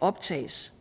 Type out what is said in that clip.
optages